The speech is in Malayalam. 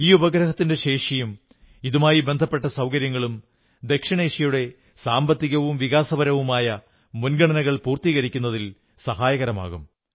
ഈ ഉപഗ്രഹത്തിന്റെ ശേഷിയും ഇതുമായി ബന്ധപ്പെട്ട സൌകര്യങ്ങളും ദക്ഷിണേഷ്യയുടെ സാമ്പത്തികവും വികാസപരവുമായ മുൻഗണനകൾ പൂർത്തീകരിക്കുന്നതിൽ സഹായകമാകും